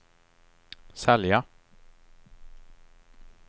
sälja